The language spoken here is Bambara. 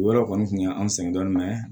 O yɔrɔ kɔni kun ye an sɛgɛn dɔɔnin mɛ